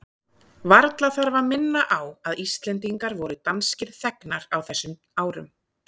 Varla þarf að minna á að Íslendingar voru danskir þegnar á þessum árum.